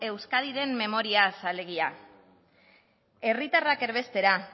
euskadiren memoriaz alegia herritarrak erbestera